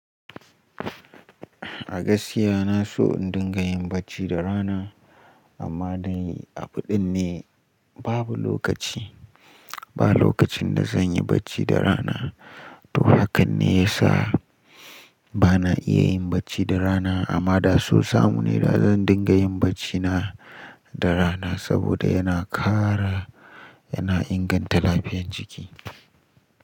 A gaskiya na so in dinga yin bacci da rana, amma dai a fiɗin ne babu lokaci. Ba lokacin da zan yi bacci da rana. To haka ne ya sa ba na iya yin bacci da rana, amma da so samu ne da zan dinga yin bacci na da rana saboda yana ƙara, yana inganta lafiyan jiki.